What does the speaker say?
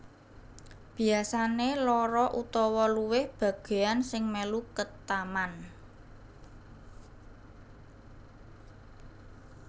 Biyasane loro utawa luwih bageyan sing melu ketaman